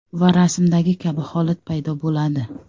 Va rasmdagi kabi holat paydo bo‘ladi.